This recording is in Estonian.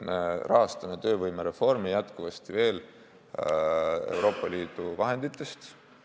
Me rahastame töövõimereformi jätkuvasti Euroopa Liidu vahenditest.